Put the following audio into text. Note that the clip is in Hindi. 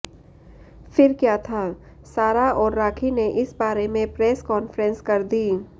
फिर क्या था सारा और राखी ने इस बारें में प्रेस कॉन्फ्रेंस कर दी